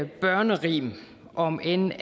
børnerim om end